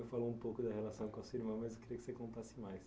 Eu falo um pouco da relação com o seu irmã, mas eu queria que você contasse mais.